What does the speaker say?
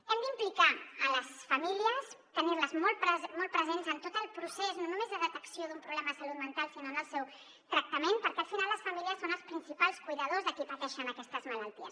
hem d’implicar les famílies tenir les molt presents en tot el procés no només de detecció d’un problema de salut mental sinó en el seu tractament perquè al final les famílies són els principals cuidadors de qui pateix aquestes malalties